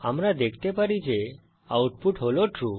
আমরা দেখতে পারি যে আউটপুট হল ট্রু